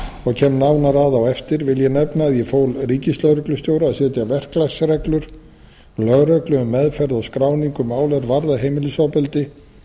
og kem nánar að á eftir vil ég nefna að ég fól ríkislögreglustjóra að setja verklagsreglur lögreglu um meðferð og skráningu mála er varða heimilisofbeldi